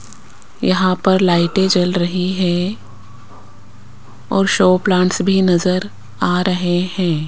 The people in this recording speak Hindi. यहां पर लाइटें जल रही हैं और शो प्लांट्स भी नजर आ रहे हैं।